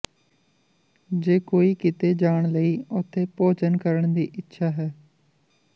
ਜੇ ਕੋਈ ਕਿਤੇ ਜਾਣ ਲਈ ਉੱਥੇ ਭੋਜਨ ਕਰਨ ਦੀ ਇੱਛਾ ਹੈ